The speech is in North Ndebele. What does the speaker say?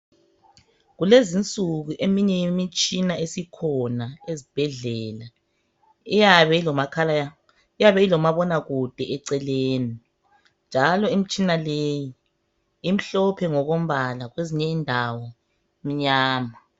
Kulezinsuku eminye imitshina esikhona ezibhedlela iyabe ilomakhala, iyab' ilomabonakude eceleni. Njalo imtshina leyi imhlophe ngokombala kwezinye indawo imnyama.